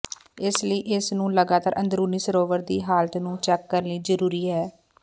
ਇਸ ਲਈ ਇਸ ਨੂੰ ਲਗਾਤਾਰ ਅੰਦਰੂਨੀ ਸਰੋਵਰ ਦੀ ਹਾਲਤ ਨੂੰ ਚੈੱਕ ਕਰਨ ਲਈ ਜ਼ਰੂਰੀ ਹੈ